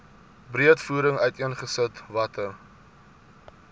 breedvoerig uiteengesit watter